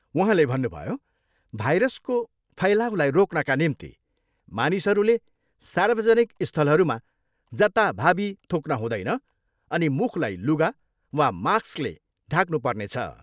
उहाँले भन्नुभयो, भाइरसको फैलाउलाई रोक्नका निम्ति मानिसहरूले सार्वजनिक स्थलहरूमा जताभावी थुक्न हुँदैन अनि मुखलाई लुगा वा माक्सले ढाक्नु पर्नेछ।